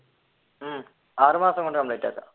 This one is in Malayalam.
ഉം ആറു മാസം കൊണ്ട് complete ആക്കാം